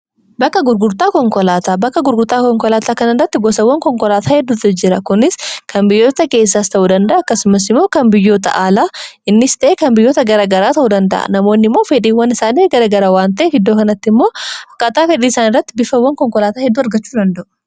Bakka gurgurtaa konkolaataa:-Bakka gurgurtaa konkolaataa kana irratti gosaawwan konkolaataa heddutu jira. Kunis kan biyyoota keessaas ta'uu danda'a. Akkasumas immoo kan biyyoota aalaas ta'ee kan biyyoota garaa garaa ta'uu danda'a. Namoonni immoo fedhiiwwan isaanii garaa gara waanta'eef iddoo kanatti immoo akkaataa fedhii isaanii irratti bifaawwan konkolaataa hedduu argachuu danda'u.